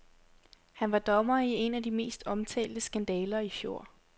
Han var dommer i en af de mest omtalte skandaler i fjor.